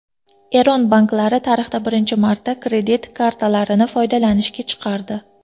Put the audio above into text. Eron banklari tarixda birinchi marta kredit kartalarini foydalanishga chiqardi.